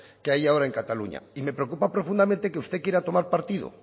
que hay ahora en cataluña y me preocupa profundamente que usted quiera tomar partido